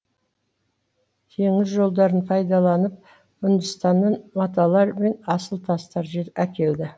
теңіз жолдарын пайдаланып үндістаннан маталар мен асыл тастар әкелді